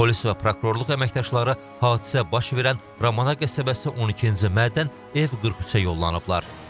Polis və prokurorluq əməkdaşları hadisə baş verən Ramana qəsəbəsi 12-ci Mədən ev 43-ə yollanıblar.